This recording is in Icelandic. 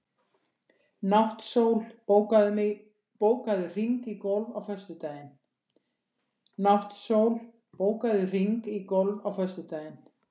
Náttsól, bókaðu hring í golf á föstudaginn.